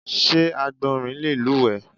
Sé Àgbọ̀nrín le lúùwé?